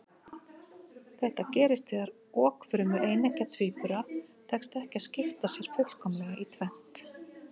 Þetta gerist þegar okfrumu eineggja tvíbura tekst ekki að skipta sér fullkomlega í tvennt.